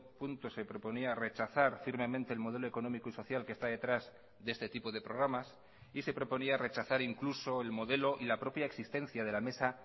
punto se proponía rechazar firmemente el modelo económico y social que está detrás de este tipo de programas y se proponía rechazar incluso el modelo y la propia existencia de la mesa